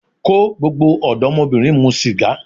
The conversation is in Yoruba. Ko gbogbo odomobirin mu siga